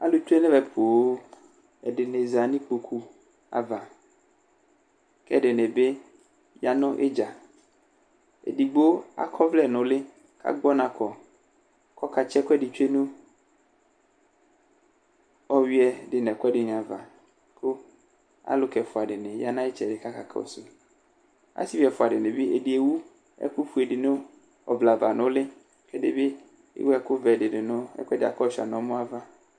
Alʋ tsʋe nʋ ɛvɛ poo, ɛdɩnɩ za nʋ ikpoku ava, kʋ ɛdɩnɩ bɩ ya nʋ idza Edigbo akɔ ɔvlɛ nʋ ʋlɩ kʋ agbɔnakɔ, kʋ ɔkatsɩ ɛkʋ ɛdɩ tsʋe nʋ ɔyʋɩɛ dʋ nʋ ɛkʋ ɛdɩnɩ ava Aluka ɛfʋa dɩnɩ ya nʋ ayʋ ɩtsɛdɩ kʋ aka kɔsʋ yɩ Asivi ɛfʋa dɩnɩ bɩ, ɛdɩ ewu ɛkʋfue dɩ nʋ ɔvlɛ ava nʋ ʋlɩ, kʋ ɛdɩ bɩ ewu ɛkʋvɛ dɩ nʋ ɛkʋ yɛ bʋakʋ ɔshʋa nʋ ɔmɔ ava